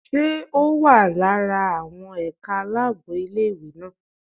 Ṣé ó wà lára àwọn ẹ̀ka aláàbò ilé ìwé náà?